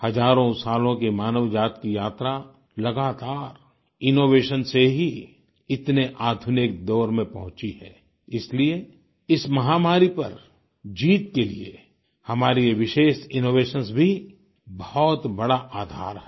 हजारों सालों की मानवजाति की यात्रा लगातार इनोवेशन से ही इतने आधुनिक दौर में पहुँची है इसलिए इस महामारी पर जीत के लिए हमारे ये विशेष इनोवेशंस भी बहुत बड़ा आधार है